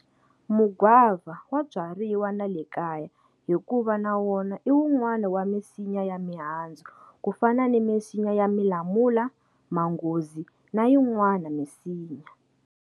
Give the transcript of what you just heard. Mugwava wa byariwa na le kaya hikuva na wona i wunwana wa misinya ya mihandzu ku fana na misinya ya milamula, manghozi na yinwana misinya.